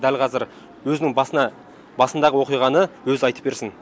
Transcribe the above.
дәл қазір өзінің басына басындағы оқиғаны өзі айтып берсін